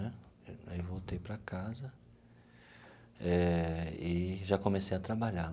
Né aí, voltei para casa eh e já comecei a trabalhar.